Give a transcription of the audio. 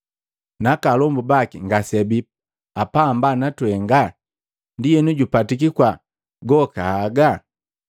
Naka alombu baki ngase abii apamba na twenga? Ndienu jupatiki kwaa goka haga?”